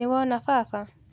Nĩwona baba.